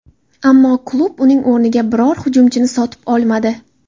Ammo klub uning o‘rniga biror hujumchini sotib olmadi.